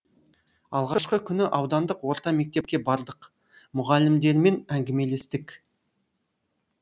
алғашқы күні аудандық орта мектепке бардық мұғалімдерімен әңгімелестік